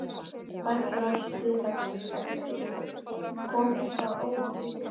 Eva Bergþóra Guðbergsdóttir: Kom eitthvað óvænt uppá?